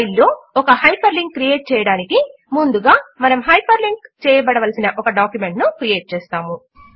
file లో ఒక hyper link create చేయడమునకు ముందుగా మనము హైపర్ లింక్ చేయబడవలసిన ఒక డాక్యుమెంట్ ను క్రియేట్ చేస్తాము